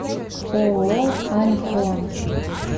ооо альхон